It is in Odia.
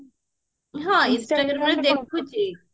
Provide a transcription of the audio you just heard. ହଁ instagramରେ ଦେଖୁଚି